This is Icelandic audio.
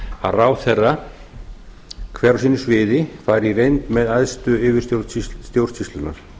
að ráðherra hver á sínu sviði fari í reynd með æðstu yfirstjórn stjórnsýslunnar